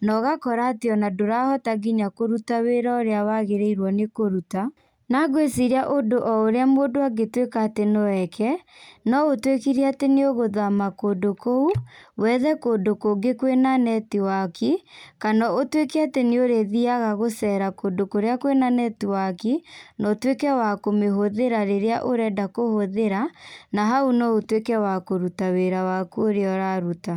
na ũgakora atĩ ona ndũrahota nginya kũruta wĩra ũrĩa wagĩrĩirwo nĩ kũruta. Na ngwĩciria ũndũ o ũrĩa mũndũ angĩtuĩka atĩ no eke no ũtuĩkire atĩ nĩ ũgũthama kũu wethe kũndũ kũngĩ kwĩna netiwaki, kana ũtuĩke atĩ nĩ ũrĩthiaga gũcera kũndũ kũrĩa kwĩna netiwaki, na ũtuĩke wa kũmĩhũthĩra rĩrĩa ũrenda kũhũthĩra, na hau no ũtuĩke wa kũruta wĩra waku ũrĩa ũraruta.